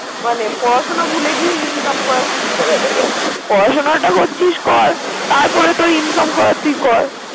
মানে পড়াশোনা ভুলে গিয়ে ইনকাম করা শুরু করে দেবে। পড়াশোনাটা করছিস কর তারপর তোর ইনকাম করার তুই কর।